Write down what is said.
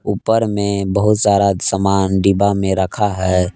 ऊपर में बहुत सारा समान डिब्बा मे रखा है।